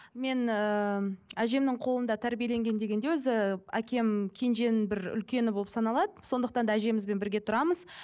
мен ыыы әжемнің қолында тәрбиеленген дегенде өзі әкем кенженің бір үлкені болып саналады сондықтан да әжемізбен бірге тұрамыз